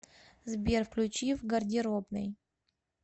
сбер включи в гардеробной